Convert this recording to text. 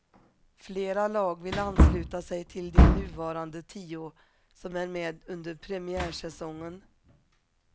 Flera lag vill ansluta sig till de nuvarande tio som är med under premiärsäsongen.